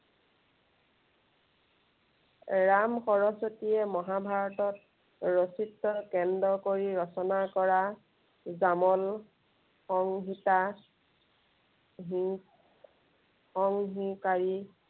ৰাম সৰস্বতীয়ে মহাভাৰতত ৰচিত কেন্দ্ৰ কৰি ৰচনা কৰা, গামন সংহিতা হিং সংহন কাৰী